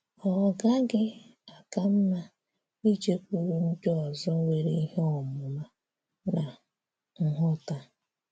Ọ́ gaghị àká mma ìjékwúrụ ndị ọzọ nwere ìhè òmùmà nà nghọ́tà?